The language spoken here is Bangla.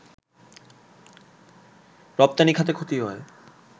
রপ্তানি খাতে ক্ষতি হয়